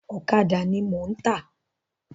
Ọ̀kàdà ni mò ń tà.